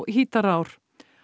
Hítarár